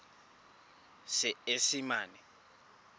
seesimane